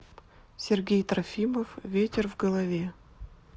сергей трофимов ветер в голове